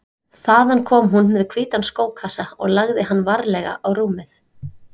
Þaðan kom hún með hvítan skókassa og lagði hann varlega á rúmið.